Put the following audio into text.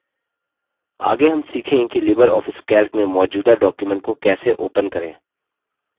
आगे हम सीखेंगे कि लिबर ऑफिस calc में मौजूदा document को कैसे open करें